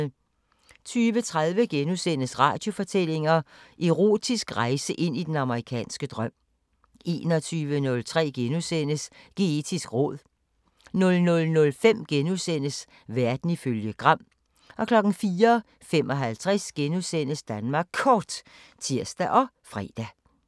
20:30: Radiofortællinger: Erotisk rejse ind i den amerikanske drøm * 21:03: Geetisk råd * 00:05: Verden ifølge Gram * 04:55: Danmark Kort *(tir og fre)